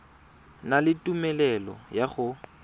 na le tumelelo ya go